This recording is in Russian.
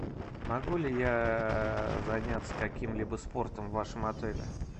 могу ли я заняться каким либо спортом в вашем отеле